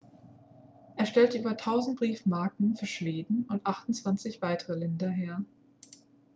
er stellte über 1.000 briefmarken für schweden und 28 weitere länder her